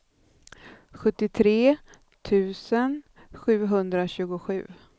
sjuttiotre tusen sjuhundratjugosju